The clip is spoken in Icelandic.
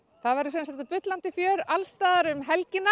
það verður bullandi fjör allstaðar um helgina